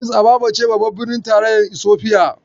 Adis ababa ce babbar birnin tarayyar Isofiya.